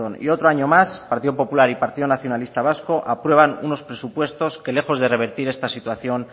y otro año más partido popular y partido nacionalista vasco aprueban unos presupuestos que lejos de revertir esta situación